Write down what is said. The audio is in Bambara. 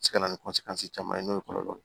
Se ka na ni caman ye n'o ye kɔlɔlɔ